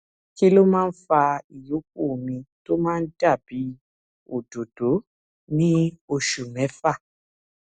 kí ló máa ń fa ìyókù omi tó máa ń dà bí òdòdó ní oṣù méfà